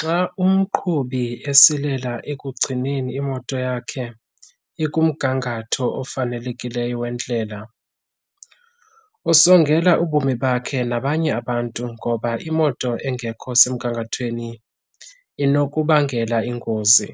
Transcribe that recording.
Xa umqhubi esilela ekugcineni imoto yakhe ikumgangatho ofanelekileyo wendlela, usongela ubomi bakhe nabanye abantu ngoba imoto engekho semgangathweni inokubangela ingozi.